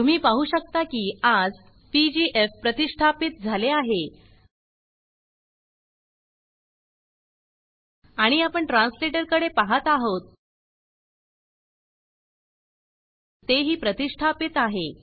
तुम्ही पाहु शकता की आज पीजीएफ प्रतिष्ठापीत झाले आहे आणि आपण ट्रांसलेटर कडे पाहत आहोत तेही प्रतिष्ठापीत आहे